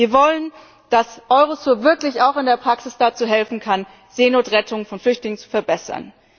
Wir wollen, dass Eurosur wirklich auch in der Praxis helfen kann, Seenotrettung von Flüchtlingen zu verbessern.